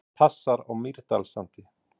Hvað passar á Mýrdalssandi?